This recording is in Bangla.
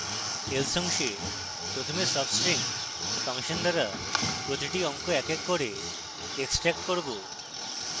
else অংশে প্রথমে substring ফাংশন দ্বারা প্রতিটি অঙ্ক in in করে extract করব